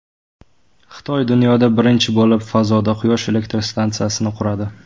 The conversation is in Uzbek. Xitoy dunyoda birinchi bo‘lib fazoda Quyosh elektr stansiyasini quradi.